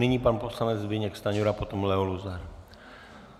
Nyní pan poslanec Zbyněk Stanjura, potom Leo Luzar.